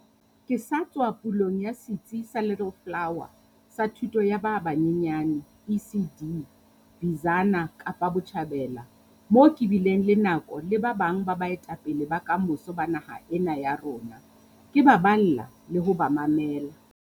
Ke sa tswa ya pulong ya setsi sa Little Flower sa thuto ya ba banyenyane, ECD, Bizana, Kapa Botjhabela, moo ke bileng le nako le ba bang ba baetapele ba kamoso ba naha ena ya rona, ke ba balla le ho ba mamela.